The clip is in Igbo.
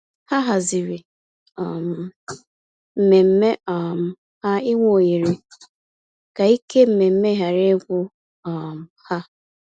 Ha hazịri um mmemme um ha ịnwe ohere, ka ike mmemme ghara igwu um ha.